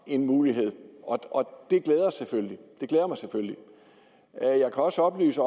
en mulighed og det glæder mig selvfølgelig jeg kan også oplyse